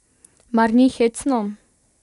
Mar ni hecno?